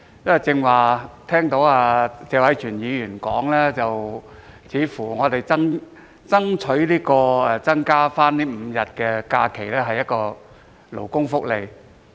我剛才聽到謝偉銓議員表示，我們爭取新增5日假期是勞工福利。